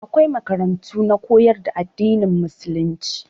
Akwai makarantu na koyar da addinin musulunci.